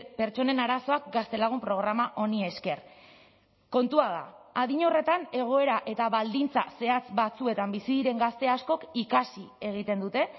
pertsonen arazoak gaztelagun programa honi esker kontua da adin horretan egoera eta baldintza zehatz batzuetan bizi diren gazte askok ikasi egiten dute